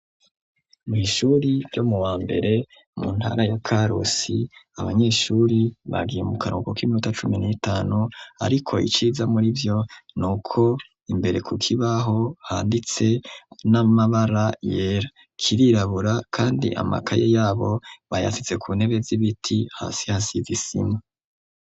Kw'ishure ryisumbuye ryo ku musaga iyo abanyeshuri batashe imiryango irugarwa ku miryango hometseko ibi papuro biri mw'ibara ryera ni ibindi biri mw'ibara ry'umuhondo impome zaho zisize ibara rera n'ibara ry'ubururu bwo ikirere hamwe n'ibara ryirabura.